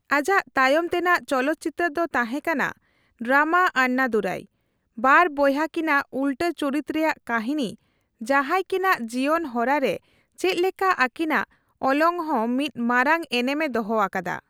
ᱟᱡᱟᱜ ᱛᱟᱭᱚᱢ ᱛᱮᱱᱟᱜ ᱪᱚᱞᱚᱛᱪᱤᱛᱟᱹᱨ ᱫᱚ ᱛᱟᱦᱮᱸ ᱠᱟᱱᱟ ᱰᱨᱟᱢᱟ ᱟᱱᱱᱟᱫᱩᱨᱟᱭ, ᱵᱟᱨ ᱵᱚᱭᱦᱟ ᱠᱤᱱᱟᱜ ᱩᱞᱴᱟᱹ ᱪᱩᱨᱤᱛ ᱨᱮᱭᱟᱜ ᱠᱟᱹᱦᱤᱱᱤ ᱡᱟᱦᱟᱸᱭ ᱠᱤᱱᱟᱜ ᱡᱤᱭᱚᱱ ᱦᱚᱨᱟ ᱨᱮ ᱪᱮᱫ ᱞᱮᱠᱟ ᱟᱹᱠᱤᱱᱟᱜ ᱚᱞᱚᱝ ᱦᱚᱸ ᱢᱤᱫ ᱢᱟᱨᱟᱝ ᱮᱱᱮᱢᱮ ᱫᱚᱦᱚ ᱟᱠᱟᱫᱟ ᱾